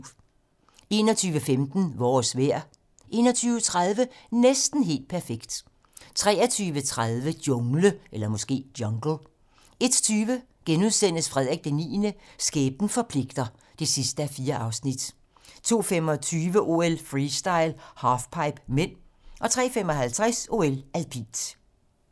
21:15: Vores vejr 21:30: Næsten helt perfekt 23:30: Jungle 01:20: Frederik IX - Skæbnen forpligter (4:4)* 02:25: OL: Freestyle - halfpipe (m) 03:55: OL: Alpint